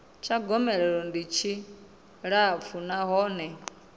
tsha gomelelo tshi tshilapfu nahone